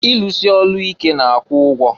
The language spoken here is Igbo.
Ilusi ọlụ ike na-akwụ ụgwọ.